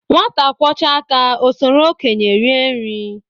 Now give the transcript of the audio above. Nwata kwọchaa aka o soro okenye rie nri